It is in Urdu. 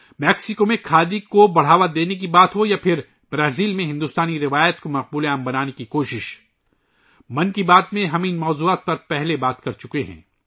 میکسیکو میں کھادی کو فروغ دینے کا معاملہ ہو یا برازیل میں ہندوستانی روایات کو مقبول بنانے کی کوشش، ہم ان موضوعات پر ، اِس سے پہلے کی 'من کی بات ' میں بات کر چکے ہیں